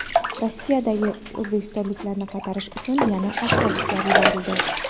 Rossiyadagi o‘zbekistonliklarni qaytarish uchun yana avtobuslar yuborildi.